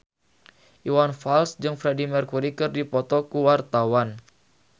Iwan Fals jeung Freedie Mercury keur dipoto ku wartawan